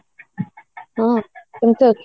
ହୁଁ କେମିତି ଅଛୁ?